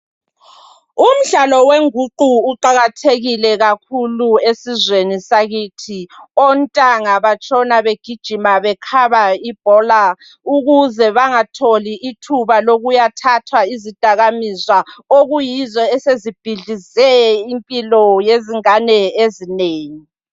Umdlalo wenguqu uqakathekile kakhulu esizweni sakithi ontanga batshona begijima bekhaba ibhola ukuze bengatholi ithuba lokuya thatha izidakamizwa okuyizo esezibhidlize impilo zabantwana abanengi.